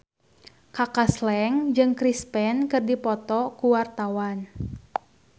Kaka Slank jeung Chris Pane keur dipoto ku wartawan